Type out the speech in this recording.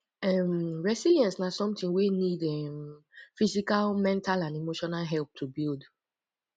um resilience na somthing wey need um physical mental and emotional help to build